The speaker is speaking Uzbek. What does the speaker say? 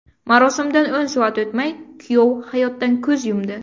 Marosimdan o‘n soat o‘tmay kuyov hayotdan ko‘z yumdi.